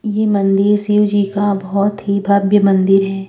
ये मंदिर शिव जी का बोहोत ही भव्य मंदिर है।